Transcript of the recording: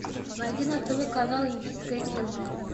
найди на тв канал индийское кино